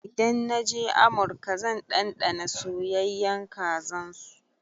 Idan na je amurka zan ɗanɗana soyayyan kazan su.